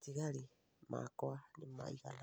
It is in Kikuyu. Matigari makwa nĩ maigana